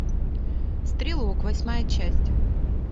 стрелок восьмая часть